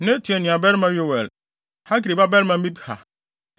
Natan nuabarima Yoel; Hagri babarima Mibhar.